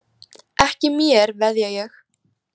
Ekki mér, veðja ég.